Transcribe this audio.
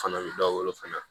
Fana bɛ dɔ wolo fana